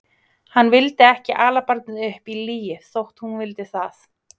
Hann vildi ekki ala barnið upp í lygi þótt hún vildi það.